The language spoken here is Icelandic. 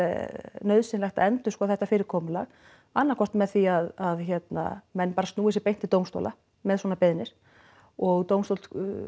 nauðsynlegt að endurskoða þetta fyrirkomulag annað hvort með því að hérna menn bara snúi sér beint til dómstóla með svona beiðnir og dómstóll